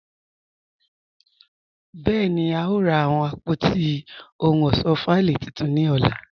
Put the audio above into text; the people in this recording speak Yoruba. Bẹẹni, a yòò rà awọn àpótí ọhun ọṣọ fáílì títún ni ọlá.